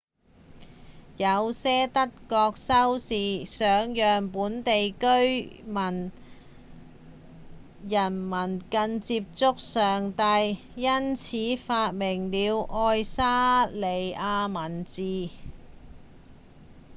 有些德國修士想讓本地人民更接近上帝因此發明了愛沙尼亞文字